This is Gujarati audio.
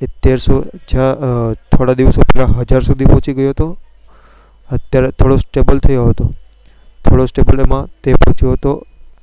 થોડા દિવસો પહેલાં સુધી પહોચી ગયો હતો અત્યારે થોડું stable થયો હતો થોડો stable માં તે પોહોચીયો હતો